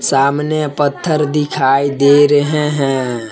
सामने पत्थर दिखाई दे रहे हैं।